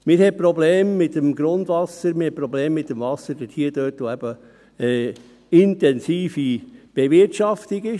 Man hat dort Probleme mit dem Grundwasser, man hat dort Probleme mit dem Wasser, wo man eben intensive Bewirtschaftung hat.